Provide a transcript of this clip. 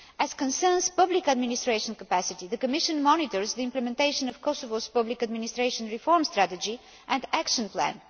As regards public administration capacity, the Commission monitors the implementation of Kosovo's public administration reform strategy and action plan.